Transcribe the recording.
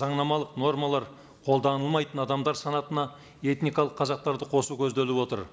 заңнамалық нормалар қолданылмайтын адамдар санатына этникалық қазақтарды қосу көзделіп отыр